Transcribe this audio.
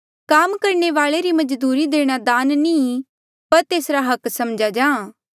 काम करणे वाले री मजदूरी देणा दान नी ई पर तेसरा हक्क समझ्या जाहाँ